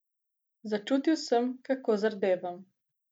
Začutil sem, kako zardevam.